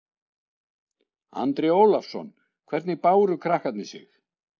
Andri Ólafsson: Hvernig báru krakkarnir sig?